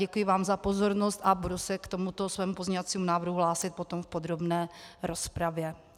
Děkuji vám za pozornost a budu se k tomuto svému pozměňovacímu návrhu hlásit potom v podrobné rozpravě.